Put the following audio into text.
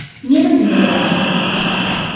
“Niyə mənimlə belə acıqlı danışırdınız?”